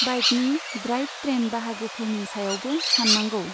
बाइकनि drive train बाहागोफोरनि सायावबो सान्नांगौ।